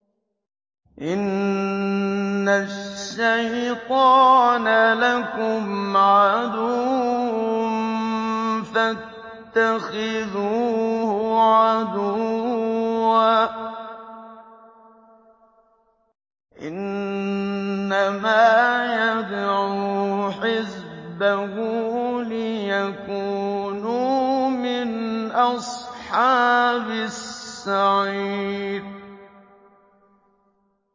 إِنَّ الشَّيْطَانَ لَكُمْ عَدُوٌّ فَاتَّخِذُوهُ عَدُوًّا ۚ إِنَّمَا يَدْعُو حِزْبَهُ لِيَكُونُوا مِنْ أَصْحَابِ السَّعِيرِ